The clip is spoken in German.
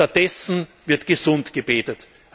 Stattdessen wird gesundgebetet.